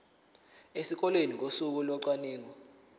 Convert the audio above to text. esikoleni ngosuku locwaningo